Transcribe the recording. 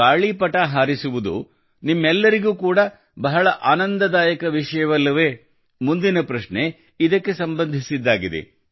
ಗಾಳಿಪಟ ಹಾರಿಸುವುದು ನಿಮ್ಮೆಲ್ಲರಿಗೂ ಕೂಡ ಬಹಳ ಆನಂದದಾಯಕ ವಿಷಯವಲ್ಲವೇ ಮುಂದಿನ ಪ್ರಶ್ನೆ ಇದಕ್ಕೆ ಸಂಬಂಧಿಸಿದ್ದಾಗಿದೆ